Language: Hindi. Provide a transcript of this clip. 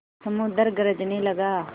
समुद्र गरजने लगा